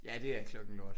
Ja det er klokken lort